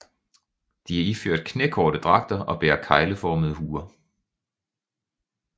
De er iført knækorte dragter og bærer kegleformede huer